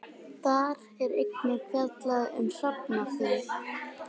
Þar er einnig fjallað um hrafnaþing.